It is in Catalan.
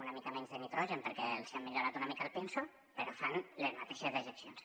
una mica menys de nitrogen perquè els han millorat una mica el pinso però fan les mateixes dejeccions